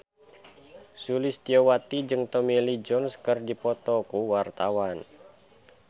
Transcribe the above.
Sulistyowati jeung Tommy Lee Jones keur dipoto ku wartawan